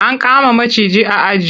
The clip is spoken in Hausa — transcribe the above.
An kama maciji a aji.